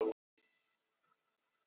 Flúðu á bifhjóli undan lögreglu